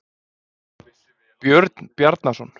Björn Bjarnason.